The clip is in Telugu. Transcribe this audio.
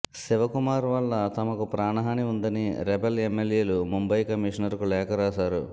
శివకుమార్ వల్ల తమకు ప్రాణహని ఉందని రెబెల్ ఎమ్మెల్యేలు ముంబై కమిషనర్ కు లేఖ రాశారు